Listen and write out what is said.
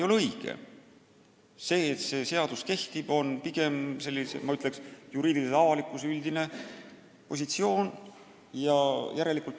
Järeldus, et see seadus kehtib, on pigem, ma ütleksin, juriidilise avalikkuse üldine positsioon.